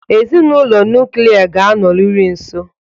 Ezinụlọ nuklia ga-anọrịrị nso.